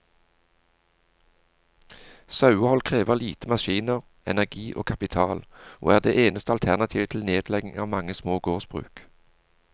Sauehold krever lite maskiner, energi og kapital, og er det eneste alternativet til nedlegging av mange små gårdsbruk.